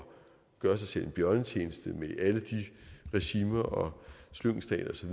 gøre sig selv en bjørnetjeneste med alle de regimer og slyngelstater osv